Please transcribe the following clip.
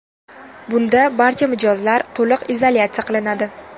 Bunda barcha mijozlar to‘liq izolyatsiya qilinadi.